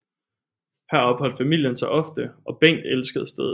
Her opholdt familien sig ofte og Bengt elskede stedet